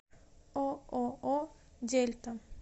ооо дельта